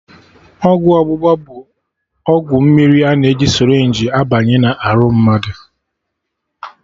Ọgwụ ọgbụgba bụ ọgwụ mmiri a na-eji sịrịnjii abanye na arụ mmadụ